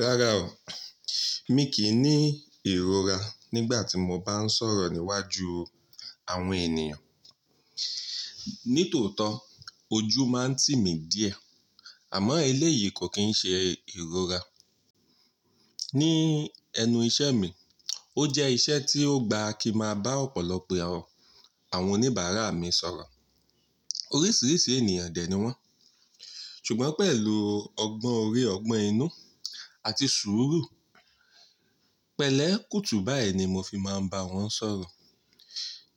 Rárá o, mi kì í ní ìrora nígbà tí mo bá ń sọ̀rọ̀ níwájú àwọn ènìyàn. Nítòótọ́ ojú máa ń tì mí díẹ̀, àmọ́ eléyìí kò kí ń ṣe ìrora. Ní ẹnu iṣẹ́ mi, ó jẹ́ iṣẹ́ tí ó gba kí n maa bá ọ̀pọ̀lọpọ̀ àwọn oníbàárà mi sọ̀rọ̀. Oríṣìíríṣìí ènìyàn dẹ̀ ni wọ́n, ṣùgbọ́n pẹ̀lú ọgbọ́n orí, ọgbọ́n inú àti sùúrù. Pẹ̀lẹ́, kùtù báyìí ni mo fi máa ń bá wọn sọ̀rọ̀.